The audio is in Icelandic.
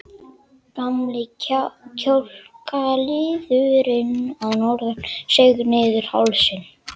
Gamli kjálkaliðurinn að norðan seig niður hálsinn.